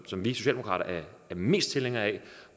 som vi socialdemokrater er mest tilhængere af